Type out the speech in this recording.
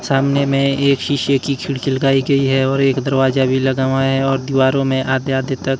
सामने में एक शीशे की खिड़की लगाई गई है और एक दरवाजा भी लगा हुआ है और दीवारों में आते-आते तक --